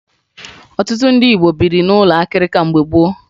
Ọtụtụ ndị Igbo biri n'ụlọ akịrịka mgbe gboo